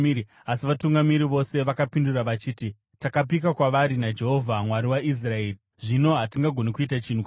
asi vatungamiri vose vakapindura vachiti, “Takapika kwavari naJehovha, Mwari waIsraeri, zvino hatigoni kuita chinhu kwavari.